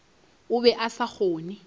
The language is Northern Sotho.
o be a sa kgone